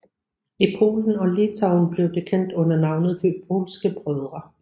I Polen og Litauen blev de kendt under navnet De polske brødre